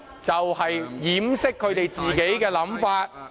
也是掩飾他們自己的想法......